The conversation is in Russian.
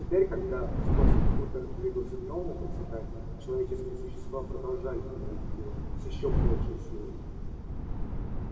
теперь когда скотский хутор двигался к новому процветанию человеческие существа продолжали ненавидеть его с ещё большей силой